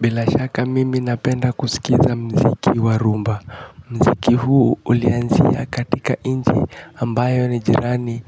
Bila shaka mimi napenda kusikiza mziki wa rumba. Mziki huu ulianzia katika inchi ambayo ni jirani